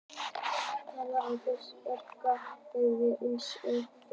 Tvífarinn þarf hins vegar ekki að vera nákvæmlega eins og frummyndin.